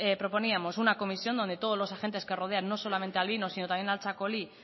proponíamos una comisión donde todos los agentes que rodean nos solamente al vino sino también al txakoli